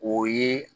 O ye